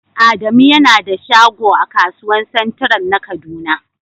Adamu yana da shagon a kasuwan " central" na kaduna.